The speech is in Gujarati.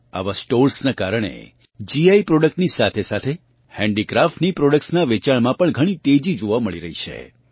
આવાં સ્ટોર્સનાં કારણે જીઆઇ પ્રોડક્ટની સાથેસાથે હેન્ડીક્રાફ્ટની પ્રોડક્ટ્સનાં વેચાણમાં ઘણી તેજી જોવાં મળી છે